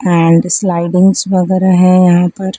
And slidings वगैरह है यहां पर।